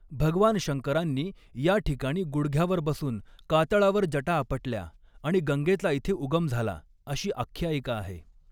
भगवान शंकरांनी या ठिकाणी गुढग्यावर बसून कातळावर जटा आपटल्या आणि गंगेचा इथे उगम झाला अशी आख्यायिका आहे.